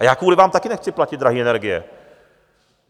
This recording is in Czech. A já kvůli vám taky nechci platit drahé energie.